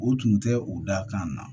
U tun tɛ u da kan na